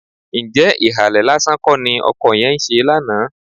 Ǹjẹ́ ìhàlẹ̀ lásán kọ́ ni ọkọ yẹn ń ṣe lánàá?